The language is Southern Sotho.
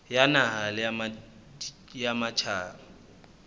ya naha le ya matjhaba